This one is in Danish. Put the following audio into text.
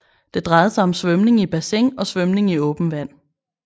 Det drejede sig om svømning i bassin og svømning i åben vand